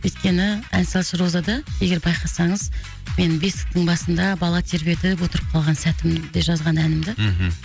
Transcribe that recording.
өйткені ән салшы розада егер байқасаңыз менің бесіктің басында бала тербетіп отырып қалған сәтімде жазған әнімді мхм